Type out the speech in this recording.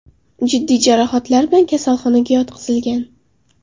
jiddiy jarohatlar bilan kasalxonaga yotqizilgan.